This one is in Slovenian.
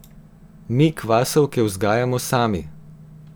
Mi kvasovke vzgajamo sami.